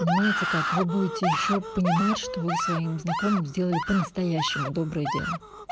понимаете как вы будете ещё понимать что вы своим знакомым сделали по настоящему доброе дело